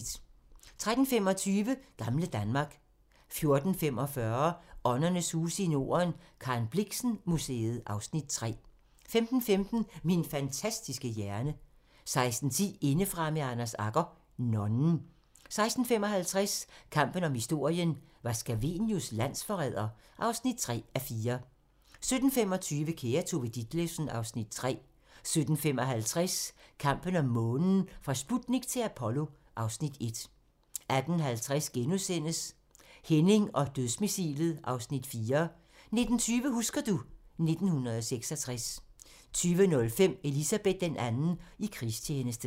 13:25: Gamle Danmark 14:45: Åndernes huse i Norden - Karen Blixen Museet (Afs. 3) 15:15: Min fantastiske hjerne 16:10: Indefra med Anders Agger - nonnen 16:55: Kampen om historien - var Scavenius landsforræder? (3:4) 17:25: Kære Tove Ditlevsen (Afs. 3) 17:55: Kampen om månen - fra Sputnik til Apollo (Afs. 1) 18:50: Henning og Dødsmissilet (Afs. 4)* 19:20: Husker du ... 1966 20:05: Elizabeth II i krigstjeneste